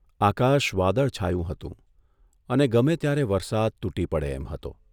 આકાશ વાદળછાયું હતું અને ગમે ત્યારે વરસાદ તૂટી પડે એમ હતો.